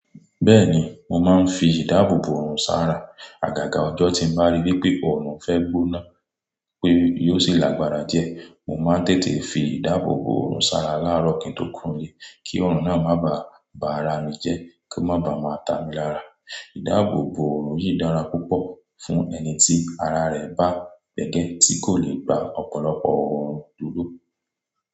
Bẹ́ẹ̀ni, mo máa ń fi ìdáàbò bòòrùn sára. Àgàgà ọjọ́ tí mo bá rí wípé ọrùn fẹ́ gbóná wípé yóò sì lágbára diẹ, mo máa ń tètè fi ìdáàbò bòòrùn sára láàárọ̀ kíń tó kúro n lé kí ọrùn náà máa ba à bà ara mi jẹ́ kó máa ba à máa ta mi lára. Ìdáàbò bòòrùn yìí dára púpọ̀ fún ẹni tí ara rẹ̀ bá gbẹgẹ tí kò le gba ọ̀pọ̀lọpọ̀ ọrùn dúró.